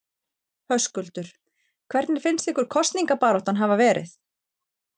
Höskuldur: Hvernig finnst ykkur kosningabaráttan hafa verið?